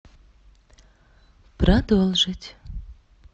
продолжить